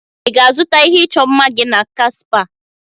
Ị ga-azụta ihe ịchọ mma gị n'aka Supa?